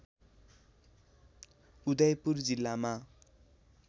उदयपुर जिल्लामा